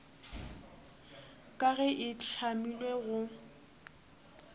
ka ge e hlamilwe go